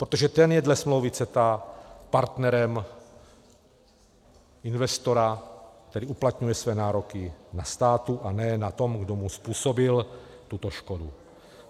Protože ten je dle smlouvy CETA partnerem investora, který uplatňuje své nároky na státu, a ne na tom, kdo mu způsobil tuto škodu.